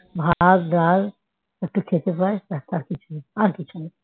ভাত ডাল একটু খেতে পায় ব্যস্ আর কিছুই না আর কিছুই নেই